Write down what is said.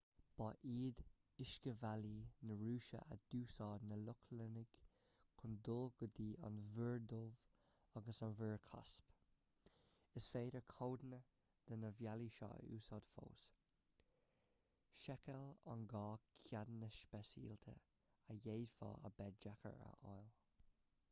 ba iad uiscebhealaí na rúise a d'úsáid na lochlannaigh chun dul go dtí an mhuir dhubh agus an mhuir chaisp is féidir codanna de na bealaí seo a úsáid fós seiceáil an gá ceadanna speisialta a d'fhéadfadh a bheith deacair a fháil